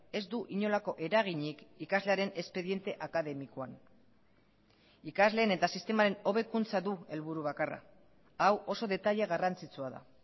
ez du inolako eraginik ikaslearen espediente akademikoan ikasleen eta sistemaren hobekuntza du helburu bakarra hau oso detaile garrantzitsua da